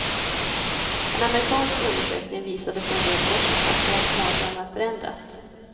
En amerikansk undersökning visade för en del år sedan att barns mardrömmar förändrats.